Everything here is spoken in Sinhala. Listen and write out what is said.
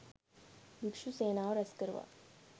භික්ෂූ සේනාව රැස්කරවා